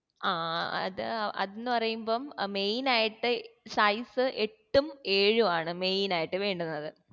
ആ അത് അതെന്ന് പറയുമ്പം main ആയിട്ട് size എട്ടും ഏഴു ആണ് main ആയിട്ട് വേണ്ടുന്നത്